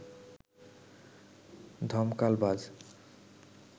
ধমকাল বাজ